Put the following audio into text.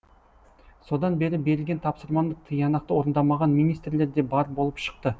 содан бері берілген тапсырманы тиянақты орындамаған министрлер де бар болып шықты